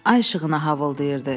Ay işığına havıldırdı.